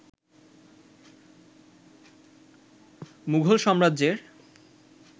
মুঘল সাম্রাজ্যের